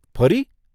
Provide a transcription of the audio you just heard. ફરી?